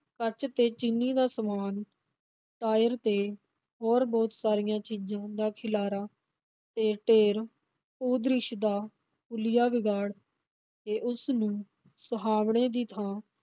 ਕੱਚ ਤੇ ਚੀਨੀ ਦਾ ਸਮਾਨ, ਟਾਇਰ ਤੇ ਹੋਰ ਬਹੁਤ ਸਾਰੀਆਂ ਚੀਜ਼ਾਂ ਦਾ ਖਿਲਾਰਾ ਤੇ ਢੇਰ ਭੂ-ਦ੍ਰਿਸ਼ ਦਾ ਹੁਲੀਆ ਵਿਗਾੜ ਕੇ ਉਸਨੂੰ ਸੁਹਾਵਣੇ ਦੀ ਥਾਂ